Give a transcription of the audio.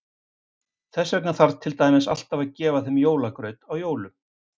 Þess vegna þarf til dæmis alltaf að gefa þeim jólagraut á jólum.